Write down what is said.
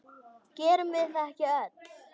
Gerum við það ekki öll?